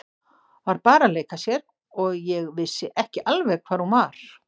Var bara að leika sér og ég vissi ekki alveg hvar hún var.